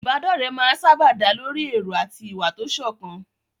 Ìbádọ́rẹ̀ẹ́ máa ń sáábà dá lórí èrò àti ìwà tó sọ̀kan.